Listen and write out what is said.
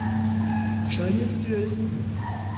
sundhedsstyrelsen